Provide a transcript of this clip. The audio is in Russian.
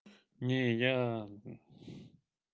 не я